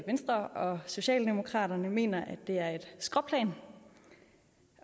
venstre og socialdemokraterne mener at det er et skråplan